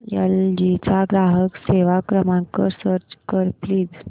L G चा ग्राहक सेवा क्रमांक सर्च कर प्लीज